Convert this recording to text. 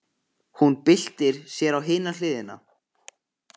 Hún byltir sér á hina hliðina.